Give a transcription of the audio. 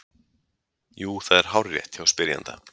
Jú, það er hárrétt hjá spyrjanda.